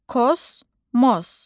Kosmos.